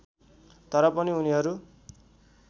तर पनि उनीहरू